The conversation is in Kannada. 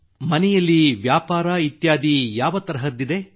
ಮತ್ತು ಮನೆಯಲ್ಲಿ ವ್ಯಾಪಾರ ಇತ್ಯಾದಿ ಯಾವ ತರಹದ್ದಿದೆ